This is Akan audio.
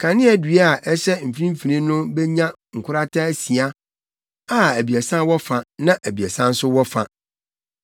Kaneadua a ɛhyɛ mfimfini no benya nkorata asia a abiɛsa wɔ fa na abiɛsa nso wɔ fa.